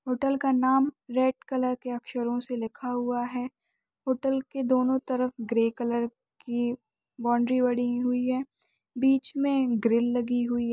Hotel का नाम red colour के अक्षरों से लिखा हुआ है होटल कि दोनों तरफ ग्रे कलर कि बाउन्ड्री बनी हुई है बीच में ग्रिल लगी हुई हैं ।